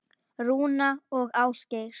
Rúna og Ásgeir.